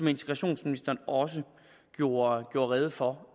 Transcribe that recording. integrationsministeren også gjorde rede for